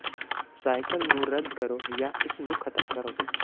cycle ਨੂੰ ਰੱਦ ਕਰੋ ਜਾਂ ਇਸ ਨੂੰ ਖਤਮ ਕਰੋ